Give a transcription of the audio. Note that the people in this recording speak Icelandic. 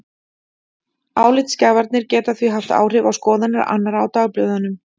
Álitsgjafarnir geta því haft áhrif á skoðanir annarra á dagblöðunum.